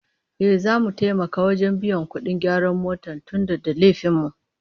Ehh, duk zamu taimaka wajen biyan kudin gyaran motar tunda da laifin mu